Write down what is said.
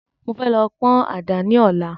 Mo fẹ́ lọ pọ́n àdá ni Ọ̀la